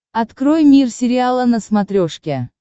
открой мир сериала на смотрешке